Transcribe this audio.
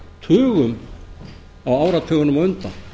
tugum á áratugunum á undan